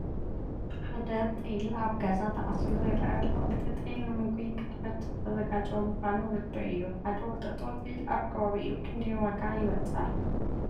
ሓደ ጤል ኣብ ገዛ ተኣሲሩ ይርአ ኣሎ፡፡ እዚ ጤል ንምግቢ ክሕረድ ዝተዘጋጀወ ምዃነ ርዱእ እዩ፡፡ ሓደ ወጠጦ ጤል ኣብ ከባቢኹም ክንደይ ዋጋ ይበፅሕ?